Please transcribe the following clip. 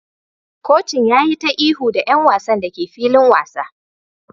Kocin ya yi ta ihu da 'yan wasan da ke filin wasa